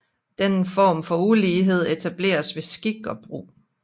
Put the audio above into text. Denne form for ulighed etableres ved skik og brug